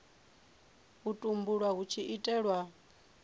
u tumbulwa hu tshi itelwa